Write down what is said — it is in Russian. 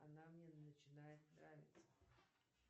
она мне начинает нравится